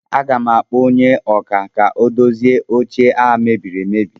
Aga m akpọ onye ọkà ka o dozie oche a mebiri emebi